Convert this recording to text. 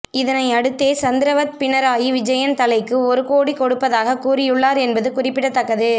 இதனை அடுத்தே சந்திரவத் பினராயி விஜயன் தலைக்கு ஒரு கோடி கொடுப்பதாகக் கூறியுள்ளார் என்பது குறிபிடத்தக்கது